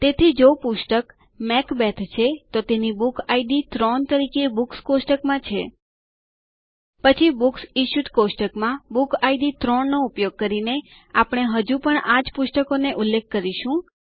તેથી જો પુસ્તક મેકબેથ છે તો તેની બુક ઇડ 3 તરીકે બુક્સ કોષ્ટકમાં છે પછી બુક્સ ઇશ્યુડ કોષ્ટકમાં બુક ઇડ 3 નો ઉપયોગ કરીને આપણે હજુ પણ આ જ પુસ્તકનો ઉલ્લેખ કરીશું